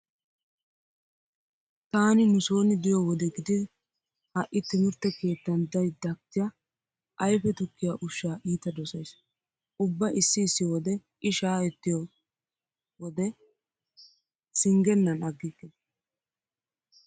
Taani nu sooni diyo wode gidi ha"i timirtte keettan dayddakja ayfe tukkiya ushshaa iita dosays. Ubba issi issi wode i shaayettiyode singgennan aggikke.